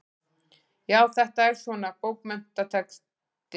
Já, þetta er svona. bókmenntatexti.